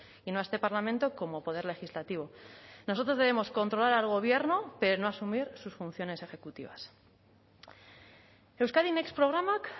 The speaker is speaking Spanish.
y no a este parlamento como poder legislativo nosotros debemos controlar al gobierno pero no asumir sus funciones ejecutivas euskadi next programak